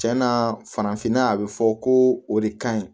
Cɛn na farafinna yan a bi fɔ ko o de ka ɲi